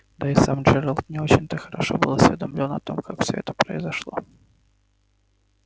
да и сам джералд не очень-то хорошо был осведомлён о том как всё это произошло